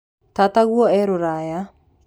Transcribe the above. Tataguo e rũraya.